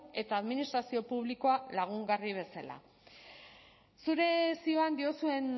eta administrazio publikoa lagungarri bezala zure zioan diozuen